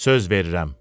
Söz verirəm.